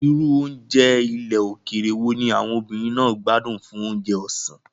Irú oúnjẹ ilẹ̀ òkèèrè wo ni àwọn obìnrin náà gbádùn fún oúnjẹ ọ̀sán?